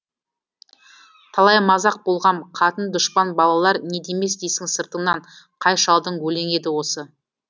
талай мазақ болғам қатын дұшпан балалар не демес дейсің сыртыңнан қай шалдың өлеңі еді осы